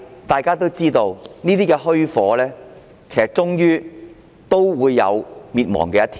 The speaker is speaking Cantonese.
大家也知道，這虛火終有滅亡的一天。